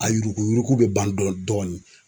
A yuruku yuruku bɛ ban dɔɔnin dɔɔnin.